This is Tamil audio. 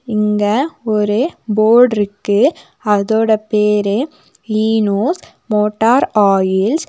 இங்க ஒரு ஃபோர்டு இருக்கு அதோட பேரு ஈநோஸ் மோட்டார் ஆயில்ஸ் .